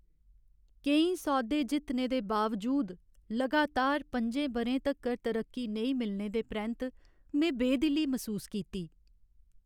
केईं सौदे जित्तने दे बावजूद लगातार पं'जें ब'रें तक्कर तरक्की नेईं मिलने दे परैंत्त में बेदिली मसूस कीती।